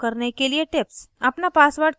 आपके account को प्रयोग करने के लिए tips